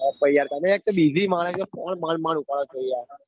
તમે માણસો phone માંડ માંડ ઉપાડો પહિ યાર.